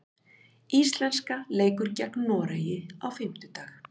Íslenska leikur gegn Noregi á fimmtudag.